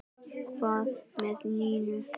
Hvað með Nínu?